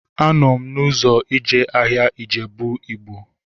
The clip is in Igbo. Anọ m n'ụzọ eje ahịa Ijebu Ịgbo